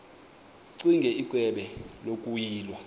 ccinge icebo lokuyilwa